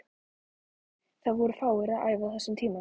Það voru fáir að æfa á þessum tíma.